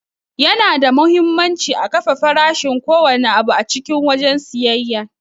Yana da muhimmanci a kafe farashin ko wanne abu a cikin wajen siyayya.